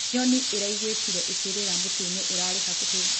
Nyonĩ ĩraĩgũĩkĩre ĩkĩrĩra mũtĩĩnĩ ũrarĩ hakũhĩ